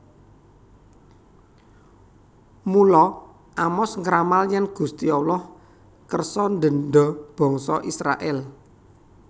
Mula Amos ngramal yèn Gusti Allah kersa ndendha bangsa Israèl